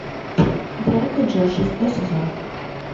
дрейк и джош шестой сезон